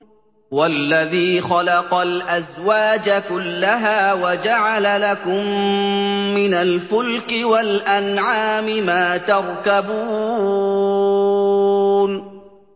وَالَّذِي خَلَقَ الْأَزْوَاجَ كُلَّهَا وَجَعَلَ لَكُم مِّنَ الْفُلْكِ وَالْأَنْعَامِ مَا تَرْكَبُونَ